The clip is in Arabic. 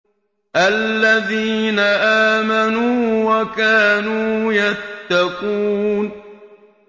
الَّذِينَ آمَنُوا وَكَانُوا يَتَّقُونَ